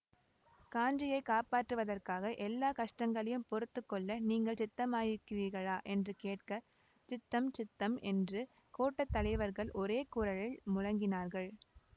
காஞ்சியைக் காப்பாற்றுவதற்காக எல்லா கஷ்டங்களையும் பொறுத்து கொள்ள நீங்கள் சித்தமாயிருக்கிறீர்களா என்று கேட்க சித்தம் சித்தம் என்று கோட்ட தலைவர்கள் ஒரே குரலில் முழங்கினார்கள்